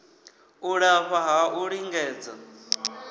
u lafha ha u lingedza